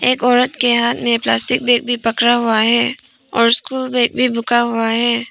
एक औरत के हाथ में प्लास्टिक बैग भी पकड़ा हुआ है और स्कूल बैग भी बुका हुआ है।